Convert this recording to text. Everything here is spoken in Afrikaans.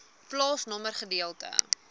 plaasnommer gedeelte